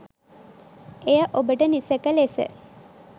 එය ඔබට නිසැක ලෙස